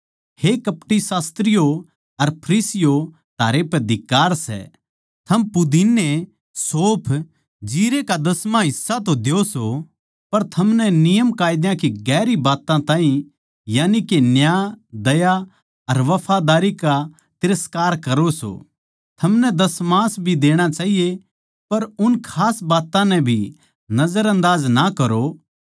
हे कपटी शास्त्रियो अर फरीसियों थारै पै धिक्कार सै थम पुदीने सौंफ जीरै का दसमां हिस्सा तो द्यो सो पर थमनै नियमकायदा की डून्घी बात्तां ताहीं यानिके न्याय दया अर वफादारी का तिरस्कार करो सों थमनै दशमास भी देणा चाहिये पर उन खास बात्तां नै भी नजरअंदाज ना करो